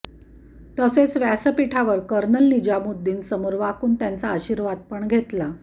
तसेच व्यासपिठावर कर्नल निजामुद्दीन समोर वाकून त्यांचा आशिर्वादपण घेतला